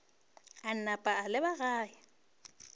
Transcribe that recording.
a napa a leba gae